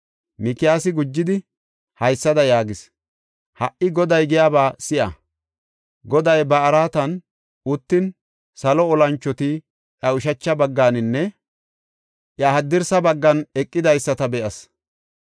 Mikiyaasi gujidi haysada yaagis; “Ha77i, Goday giyaba si7a! Goday ba araatan uttin salo olanchoti iya ushacha bagganinne iya haddirsa baggan eqidaysata be7as.